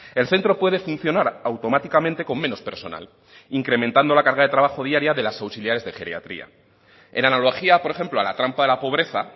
el centro puede funcionar automáticamente con menos personal incrementando la carga de trabajo diario de las auxiliares de geriatría en analogía por ejemplo a la trampa de la pobreza